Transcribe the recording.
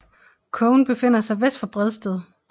Kogen befinder sig vest for Bredsted